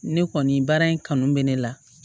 Ne kɔni baara in kanu bɛ ne la